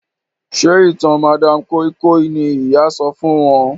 Njé ìtàn madam koi koi ní ìyá sọfún wón?